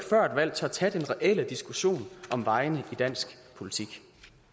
valg tør tage den reelle diskussion om vejene i dansk politik